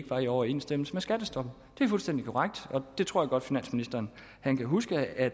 var i overensstemmelse med skattestoppet det er fuldstændig korrekt og der tror jeg godt at finansministeren kan huske at